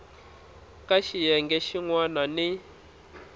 ka xiyenge xin wana ni